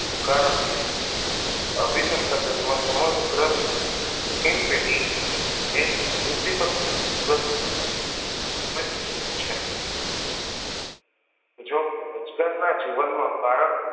કારણકે અભિસંસાધન માં સમગ્ર પેટી એ જ ઉદ્વિપક વિશિસ્ત છે જો કે રોજગાર ના જીવન માં કારક